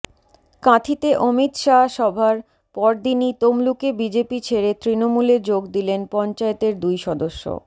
কাঁথিতে অমিত শাহর সভার পরদিনই তমলুকে বিজেপি ছেড়ে তৃণমূলে যোগ দিলেন পঞ্চায়েতের দুই সদস্য